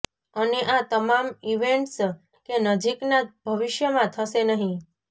અને આ તમામ ઇવેન્ટ્સ કે નજીકના ભવિષ્યમાં થશે નથી